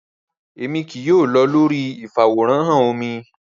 Rara, Emi kii yoo lọ lori ifaworanhan omí